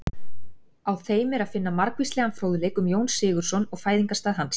Á þeim er að finna margvíslegan fróðleik um Jón Sigurðsson og fæðingarstað hans.